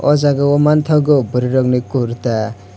o jaga o mangthogo burui rog ni kurta.